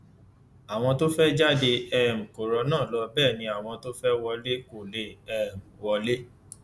àwọn tó fẹẹ jáde um kó rọnà lọ bẹ ẹ ni àwọn tó fẹẹ wọlé kó lè um wọlé